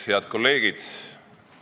Head kolleegid!